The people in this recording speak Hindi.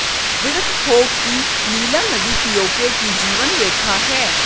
विदित हो कि नीलम नदी पीओके की जीवन रेखा है